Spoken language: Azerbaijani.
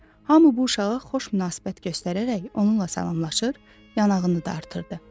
Hamı bu uşağa xoş münasibət göstərərək onunla salamlaşır, yanağını dartırdı.